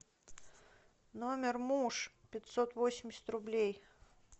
номер муж пятьсот восемьдесят рублей